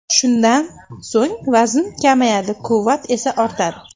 Shundan so‘ng vazn kamayadi, quvvat esa ortadi”.